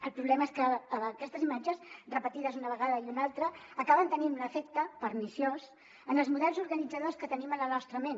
el problema és que aquestes imatges repetides una vegada i una altra acaben tenint un efecte perniciós en els models organitzadors que tenim a la nostra ment